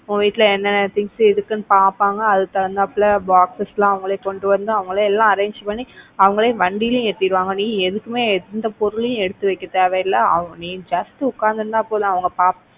உன் வீட்ல என்ன என்ன things இருக்குன்னு பாப்பாங்க அதுக்கு தகுந்த போல boxes எல்லாம் அவங்களே கொண்டு வந்து அவங்களே எல்லாம் arrange பண்ணி அவங்களே வண்டியில ஏத்திடுவாங்க. நீ எதுக்குமே எந்த பொருளையும் எடுத்து வைக்க தேவையில்லை நீ just உக்காந்துட்டு இருந்தா போதும் அவங்க,